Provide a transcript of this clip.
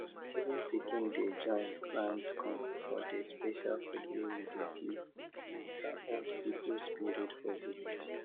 even pikin dey join grind corn for the special food wey we dey give our old people spirit for village